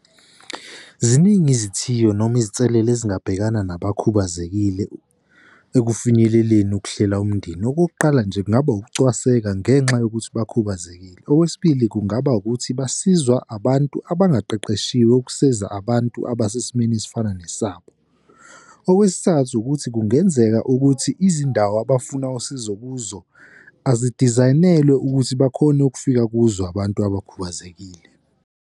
Ziningi izithiyo noma izinselele ezingabhekana nabakhubazekile ekufinyeleleni ukuhlela umndeni. Okokuqala nje, kungaba ukucwaseka ngenxa yokuthi bakhubazekile. Okwesibili, kungaba ukuthi basizwa abantu abangaqeqeshiwe ukusizwa abantu abasesimeni esifana nesabo. Okwesithathu, ukuthi kungenzeka ukuthi izindawo abafuna usizo kuzo azidizayinelwe ukuthi bakhone ukufika kuzo abantu abakhubazekile.